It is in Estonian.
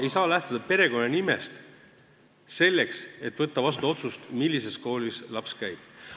Ei saa lähtuda perekonnanimest, võttes vastu otsust, millises koolis laps käib.